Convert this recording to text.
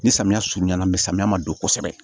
Ni samiya surunyana bi samiya ma don kosɛbɛ